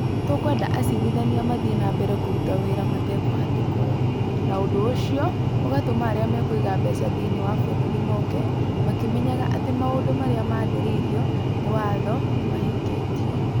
Tũkwenda acirithania mathiĩ na mbere kũruta wĩra matekũhatĩkwo. Na ũndũ ũcio ũgatũma arĩa mekũiga mbeca thĩinĩ wa bũrũri mooke , makĩmenyaga atĩ maũndũ marĩa maathĩrĩirio nĩ watho nĩ mahingĩtio.